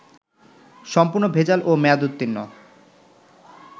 সম্পূর্ণ ভেজাল ও মেয়াদউর্ত্তীন্ন